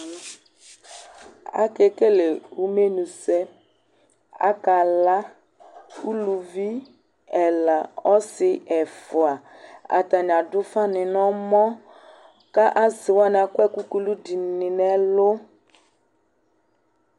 Akekele umenusɛ Akala, uluvi ɛla, ɔsɩ ɛfʋa Atanɩ adʋ ʋfanɩ nʋ ɔmɔ kʋ asɩ wanɩ akɔ ɛkʋ kulu dɩnɩ nʋ ɛlʋ